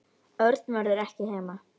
Örn verður ekki heima.